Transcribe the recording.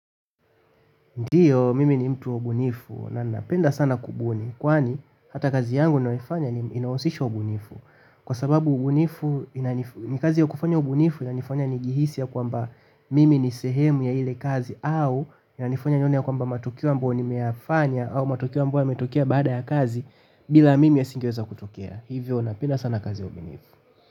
Ndiyo, mimi ni mtu wa ubunifu na napenda sana kubuni. Kwani, hata kazi yangu ninayoifanya inahusisha ubunifu. Kwa sababu ubunifu ni kazi ya kufanya ubunifu inanifanya nijihisi ya kwamba mimi ni sehemu ya ile kazi au inanifanya nione ya kwamba matukio ambayo nimeyafanya au matukio ambayo yametukia baada ya kazi bila mimi yasingeweza kutokea. Hivyo napenda sana kazi ya ubunifu.